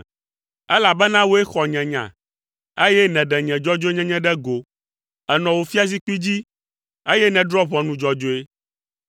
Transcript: Elabena wòe xɔ nye nya, eye nèɖe nye dzɔdzɔenyenye ɖe go. Ènɔ wò fiazikpui dzi, eye nèdrɔ̃ ʋɔnu dzɔdzɔe.